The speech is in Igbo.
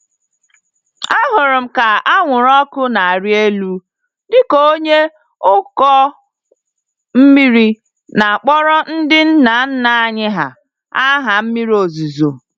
Ahụrụ m ka anwụrụ ọkụ n'arị élú dịka onye ụkọ mmiri na-akpọrọ ndị nna nna anyị hà, aha mmiri ozuzo.